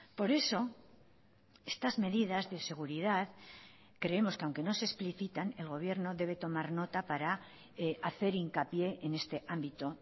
por eso estas medidas de seguridad creemos que aunque no se explicitan el gobierno debe tomar nota para hacer hincapié en este ámbito